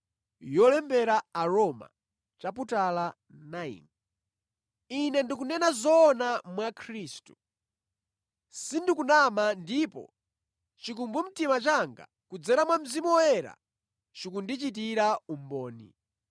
Ine ndikunena zoona mwa Khristu. Sindikunama ndipo chikumbumtima changa kudzera mwa Mzimu Woyera chikundichitira umboni.